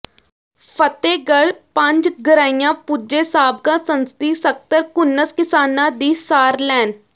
ਫਤਿਹਗੜ੍ਹ ਪੰਜਗਰਾਈਆਂ ਪੁਜੇ ਸਾਬਕਾ ਸੰਸਦੀ ਸਕਤਰ ਘੁੰਨਸ ਕਿਸਾਨਾਂ ਦੀ ਸਾਰ ਲੈਣ